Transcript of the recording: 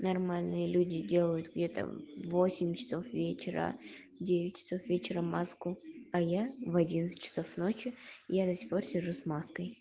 нормальные люди делают где-то в восемь часов вечера в девять часов вечера маску а я в одиннадцать часов ночи и я до сих пор сижу с маской